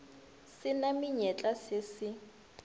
se na menyetla se se